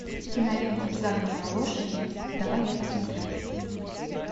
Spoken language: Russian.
кинолента загнанные лошади давай я посмотрю